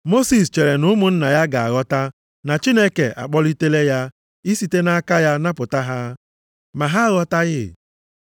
Mosis chere na ụmụnna ya ga-aghọta na Chineke akpọlitela ya isite nʼaka ya napụta ha. Ma ha aghọtaghị.